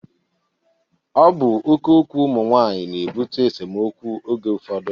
Ọ bụ oké okwu ụmụ nwaanyị na-ebute esemokwu oge ụfọdụ